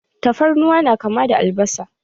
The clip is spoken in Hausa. Tafarnuwa na kama da albasa.